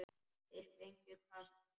Þeir fengju kast!